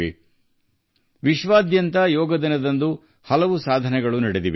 ಯೋಗ ದಿನವು ವಿಶ್ವಾದ್ಯಂತ ಹಲವಾರು ಮಹತ್ತರವಾದ ಸಾಧನೆಗಳನ್ನು ಮಾಡಿದೆ